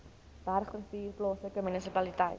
bergrivier plaaslike munisipaliteit